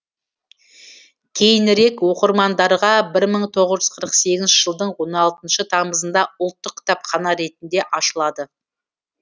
кейінірек оқырмандарға бір мың тоғыз жүз қырық сегізінші жылдың он алтыншы тамызында ұлттық кітапхана ретінде ашылады